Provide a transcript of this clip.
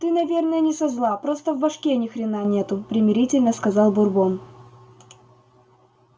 ты наверное не со зла просто в башке ни хрена нету примирительно сказал бурбон